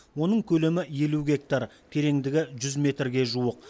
оның көлемі елу гектар тереңдігі жүз метрге жуық